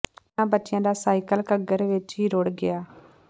ਇਨ੍ਹਾਂ ਬੱਚਿਆਂ ਦਾ ਸਾਈਕਲ ਘੱਗਰ ਵਿਚ ਹੀ ਰੁੜ੍ਹ ਗਿਆ